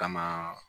Kama